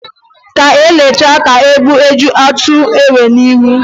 Ka e letachaa ka mgbọ ji atụ enwe n'ihu